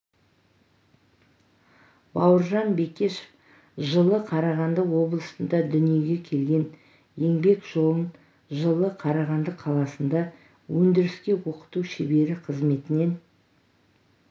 бауыржан бекешев жылы қарағанды облысында дүниеге келген еңбек жолын жылы қарағанды қаласында өндіріске оқыту шебері қызметінен